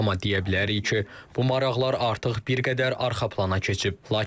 Amma deyə bilərik ki, bu maraqlar artıq bir qədər arxa plana keçib.